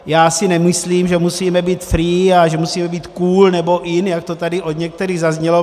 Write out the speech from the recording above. Já si nemyslím, že musíme být free a že musíme být cool nebo in, jak to tady od některých zaznělo.